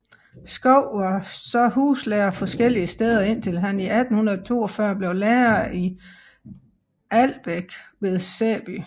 Schou var så huslærer forskellige steder indtil han i 1842 blev lærer i Albæk ved Sæby